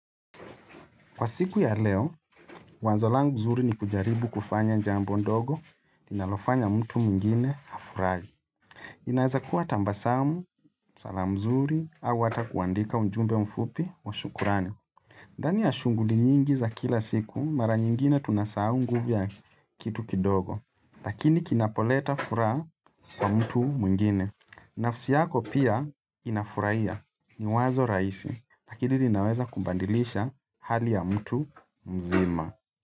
Kwa siku ya leo, wazo langu zuri ni kujaribu kufanya jambo ndogo, ninalofanya mtu mungine hafurahi. Inaweza kuwa tambasamu, salam mzuri, au ata kuandika unjumbe mfupi wa shukurani. Ndani ya shunguli nyingi za kila siku, mara nyingine tunasau nguvu ya kitu kidogo, lakini kinapoleta fura kwa mtu mungine. Nafsi yako pia inafurahia ni wazo raisi na lakini linaweza kumbadilisha hali ya mtu mzima.